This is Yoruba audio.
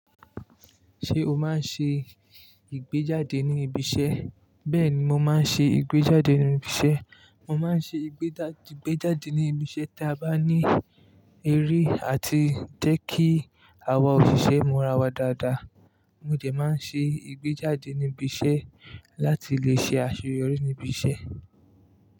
Ṣé o máa ń ṣe ìgbéjáde ní ibi iṣẹ́? Bẹ́ẹ̀ni, mo máa ń ṣe ìgbéjáde ní ibi iṣẹ́. Mo máa ń ṣe ìgbéjáde ní ibi iṣẹ́ tí a bá ní eré àti jẹ́ kí àwọn òṣìṣẹ́ múra wa dáadáa. Mo jẹ máa ń ṣe ìgbéjáde ní ibi iṣẹ́ láti lè ṣe àṣeyọrí ní ibi iṣẹ́.